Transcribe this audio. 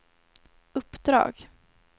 uppdrag